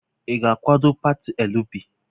Ị ga-akwado pati LP?